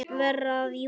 Verð að rjúka.